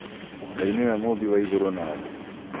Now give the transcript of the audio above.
Ngai nĩwe mũmbi wa igũrũ na thĩ